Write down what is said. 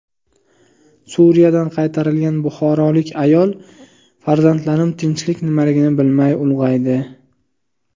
Suriyadan qaytarilgan buxorolik ayol: Farzandlarim tinchlik nimaligini bilmay ulg‘aydi.